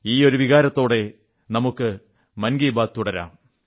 ഈ ഒരു വികാരത്തോടെ നമുക്ക് മൻ കീ ബാത്ത് തുടരാം